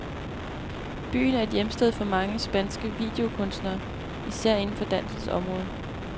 Byen er et hjemsted for mange, spanske videokunstnere, især inden for dansens område.